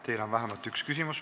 Teile on vähemalt üks küsimus.